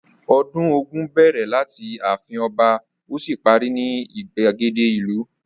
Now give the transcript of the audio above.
Ọdún Ògún bẹ̀rẹ̀ láti ààfin ọba ó sì parí ní ìgbàgede ìlú.